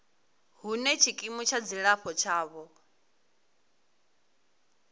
hune tshikimu tsha dzilafho tshavho